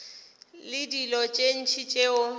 le dilo tše ntši tšeo